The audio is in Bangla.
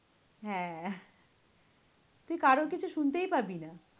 হ্যাঁ, তুই কারোর কিছু শুনতেই পাবি না।